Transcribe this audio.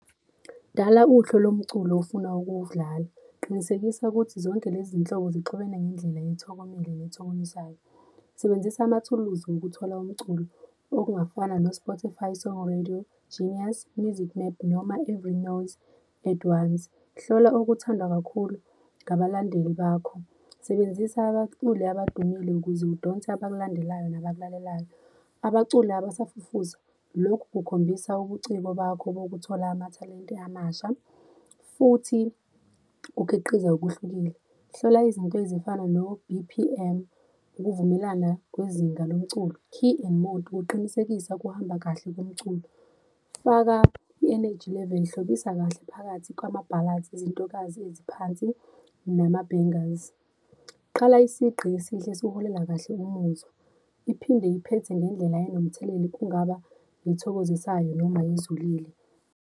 Dala uhlu lomculo ofuna ukuwudlala, qinisekisa ukuthi zonke lezi nhlobo zixubene ngendlela ethokomele nethokomisayo. Sebenzisa amathuluzi ngokuthola umculo okungafana, no-Spotify, Sonke Radio, Genius, Music Map, noma i-Rinos At Once. Hlola okuthandwa kakhulu ngabalandeli bakho. Sebenzisa abaculi abadumile ukuze udonse abakulandelayo nabakulaleyo. Abaculi abasafufusa, lokhu kukhombisa ubuciko bakho bokuthola amathalente amasha futhi ukhiqize okuhlukile. Hlola izinto ezifana no-B_P_M, ukuvumelana kwezinga lomculo, key and mode kuqinisekisa kuhamba kahle komculo. Faka i-energy level, hlobisa kahle phakathi kwama-ballads, izintokazi eziphansi nama-bangles. Qala isigqi esihle esiholela kahle kumuzwa, iphinde iphethe ngendlela enomthelela kungaba ethokozisayo noma ezulile.